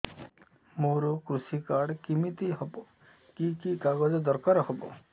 ମୋର କୃଷି କାର୍ଡ କିମିତି ହବ କି କି କାଗଜ ଦରକାର ହବ